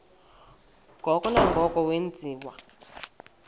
ngoko nangoko wenziwa